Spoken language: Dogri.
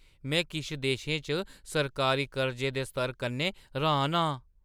में किश देशें च सरकारी कर्जे दे स्तर कन्नै र्‌हान आं।